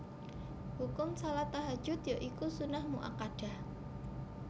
Hukum shalat Tahajjud ya iku sunnah muakkadah